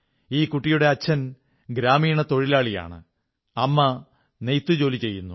ഈ കുട്ടിയുടെ അച്ഛൻ ഗ്രാമീണ തൊഴിലാളിയാണ് അമ്മ നെയ്ത്ത് ജോലി ചെയ്യുന്നു